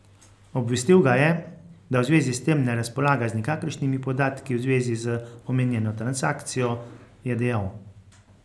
Obvestil ga je, da v zvezi s tem ne razpolaga z nikakršnimi podatki v zvezi z omenjeno transakcijo, je dejal.